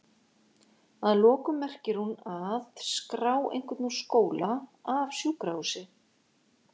Að lokum merkir hún að?skrá einhvern úr skóla, af sjúkrahúsi?